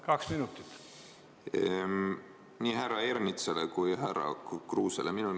Vastusõnavõtt nii härra Ernitsale kui ka härra Kruusele.